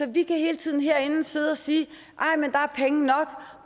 vi kan hele tiden herinde sidde og sige